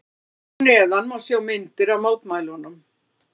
Hér að neðan má sjá myndir af mótmælunum.